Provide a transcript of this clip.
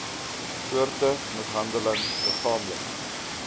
soorte mishandeling liggaamlik